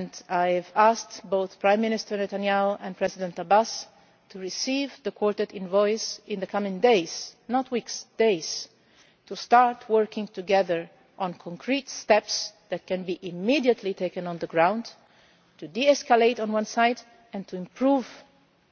to work. I have asked both Prime Minister Netanyahu and President Abbas to receive the Quartet envoys in the coming days not weeks to start working together on concrete steps that can immediately be taken on the ground to de escalate on one side and to improve